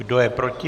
Kdo je proti?